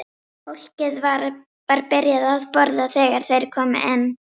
Fólkið var byrjað að borða þegar þeir komu inn.